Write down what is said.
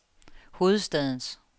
hovedstadens